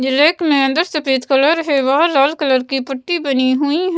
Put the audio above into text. जो लेक में अंदर सफेद कलर है वह लाल कलर की पट्टी बनी हुई--